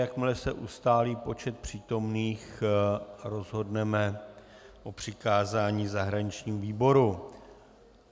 Jakmile se ustálí počet přítomných, rozhodneme o přikázání zahraničnímu výboru